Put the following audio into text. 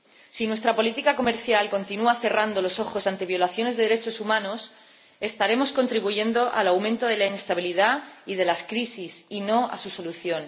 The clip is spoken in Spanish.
Si nuestra política comercial continúa cerrando los ojos ante violaciones de derechos humanos, estaremos contribuyendo al aumento de la inestabilidad y de las crisis, y no a su solución.